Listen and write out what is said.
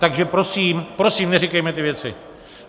Takže prosím, prosím, neříkejme ty věci.